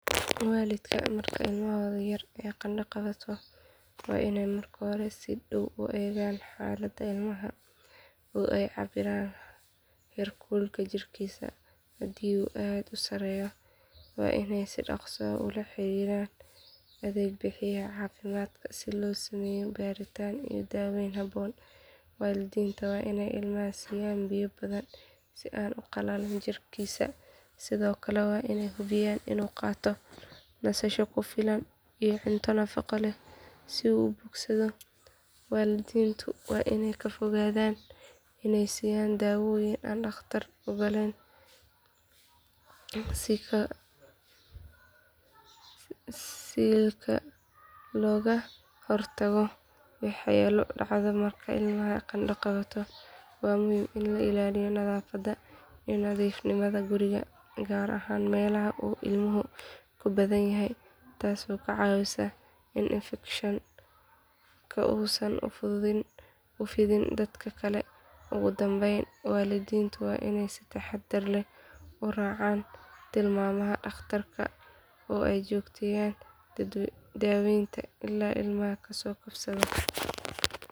Waalidka marka ilmahooda yar ay qandho qabato waa inay marka hore si dhow u eegaan xaaladda ilmaha oo ay cabbiraan heerkulka jirkiisa hadii uu aad u sarreeyo waa inay si dhaqso ah ula xiriiraan adeeg bixiyaha caafimaadka si loogu sameeyo baaritaan iyo daaweyn habboon waalidiinta waa inay ilmaha siiyaan biyo badan si aanu u qalalin jidhkiisa sidoo kale waa inay hubiyaan inuu qaato nasasho ku filan iyo cunto nafaqo leh si uu u bogsado waalidiintu waa inay ka fogaadaan inay siiyaan daawooyin aan dhakhtar oggolaan siilka looga hortago waxyeelo dhacdo marka ilmaha qandho qabto waa muhiim in la ilaaliyo nadaafadda iyo nadiifnimada guriga gaar ahaan meelaha uu ilmuhu ku badan yahay taasoo ka caawisa in infekshanka uusan u fidin dadka kale ugu dambeyn waalidiintu waa inay si taxadar leh u raacaan tilmaamaha dhakhtarka oo ay joogteeyaan daaweynta ilaa ilmaha ka soo kabsado.